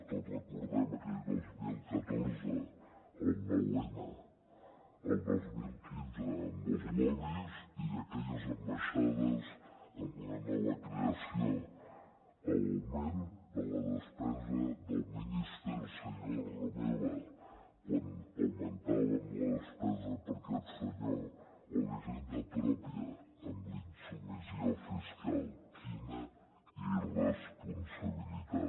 tots recordem aquell dos mil catorze el nou n el dos mil quinze amb els lobbys i aquelles ambaixades amb una nova creació l’augment de la despesa del minister senyor romeva quan augmentàvem la despesa per a aquest senyor o la hisenda pròpia amb la insubmissió fiscal quina irresponsabilitat